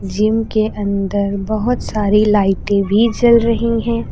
Gym के अंदर बहुत सारी लाइटें भी जल रही हैं।